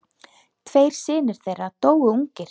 Tveir synir þeirra dóu ungir.